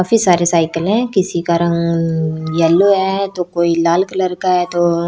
काफी सारे सायकल है किसी का रंग यल्लो है तो कोई लाल कलर का है तो --